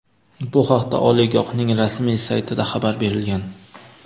Bu haqda oliygohning rasmiy saytida xabar berilgan.